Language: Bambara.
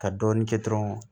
Ka dɔɔnin kɛ dɔrɔnw